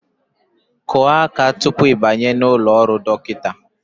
Kụọ aka tupu ị banye n'ụlọ ọrụ dọkịta!